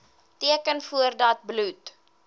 teken voordat bloed